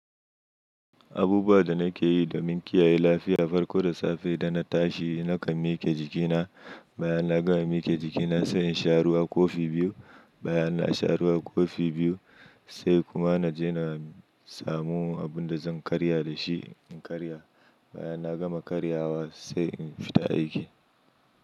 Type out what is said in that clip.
Abubuwa da nake yi domin kiyaye lafiya farko da safe da na tashi nakan mike jikina, bayan na gama mike jikina sai in sha ruwa kofi biyu, bayan na sha ruwa kofi biyu sai kuma na je na samu abun da zan karya da shi in karya. Bayan na gama karyawa sai in fita aiki.